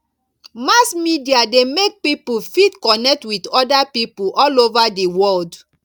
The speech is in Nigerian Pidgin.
mass media de make pipo fit connect with other pipo all over di world